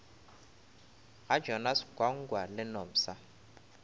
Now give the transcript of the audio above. ga jonas gwangwa le nomsa